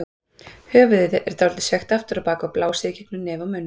Höfuðið er sveigt dálítið aftur á bak og blásið í gegnum nef og munn.